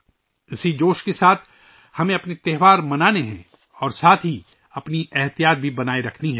اسی جوش کے ساتھ ہمیں اپنے تہوار منانے ہیں اور ساتھ ہی اپنی احتیاط بھی برقرار رکھنی ہے